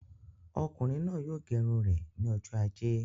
Ọkùnrin náà yóò gẹ irun rẹ ní ọjọ ajé